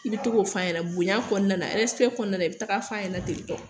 I bi togo f'a ɲɛna bonya kɔnɔna na ɛrɛsipɛ kɔnɔna na i bi taga f'a ɲɛnɛ tentɔ